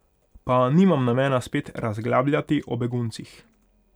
Pa nimam namena spet razglabljati o beguncih.